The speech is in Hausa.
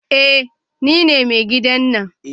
Eh nine mai gidan nan